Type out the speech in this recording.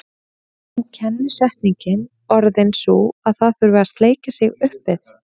Er nú kennisetningin orðin sú að það þurfi að sleikja sig upp við